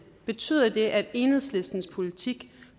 betyder det at enhedslistens politik